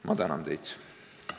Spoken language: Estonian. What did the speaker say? Ma tänan teid!